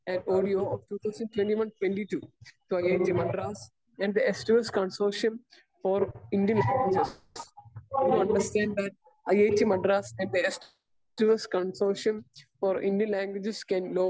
Speaker 1 and audio of two thousand twenty one to twenty twenty two to IIT Madras and the S 2 S consortium for Indian languages. I do understand that IIT Madras and the S two S consortium for Indian languages can law